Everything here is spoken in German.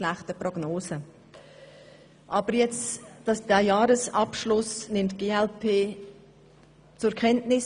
Doch die glp nimmt den vorliegenden Jahresabschluss zur Kenntnis.